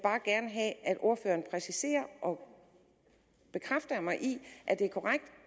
ordføreren præciserer og bekræfter mig i at det er korrekt